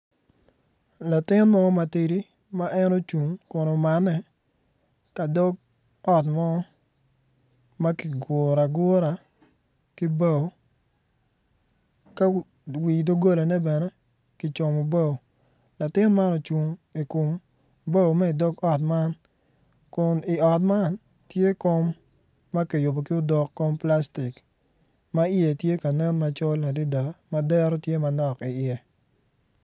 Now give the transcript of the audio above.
Latin mo ma tidi ma en ocung kun omane ka dog ot mo ma kiguro agura ki bao ka wi dogolane bene kicomo bao latin man ocung i kom bao ma idog ot mankun i ot man tye kom ma kiyubo ki odok kom plastik ma iye tye ka nen macol adada ma dero tye manok iye.